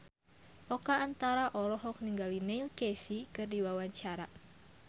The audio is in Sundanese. Oka Antara olohok ningali Neil Casey keur diwawancara